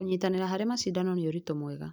Kũnyitanĩra harĩ macindano nĩ ũritũ mwega.